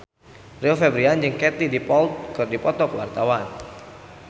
Rio Febrian jeung Katie Dippold keur dipoto ku wartawan